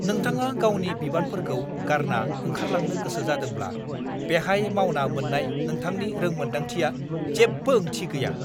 नोंथाङा गावनि बिबानफोरखौ गारना ओंखारलांनो गोसो जादोंब्ला बेहाय मावना मोन्नाय नोंथांनि रोंमोनदांथिआ जेबो ओंथि गैया।